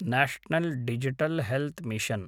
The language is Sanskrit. national digital health mission